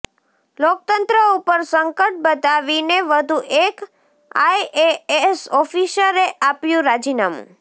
લોકતંત્ર ઉપર સંકટ બતાવીને વધુ એક આઈએએસ ઓફિસર એ આપ્યું રાજીનામું